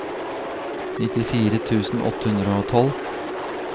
nittifire tusen åtte hundre og tolv